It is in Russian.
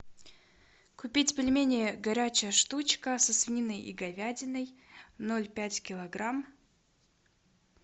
купить пельмени горячая штучка со свининой и говядиной ноль пять килограмм